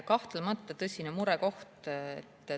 Kahtlemata on see tõsine murekoht.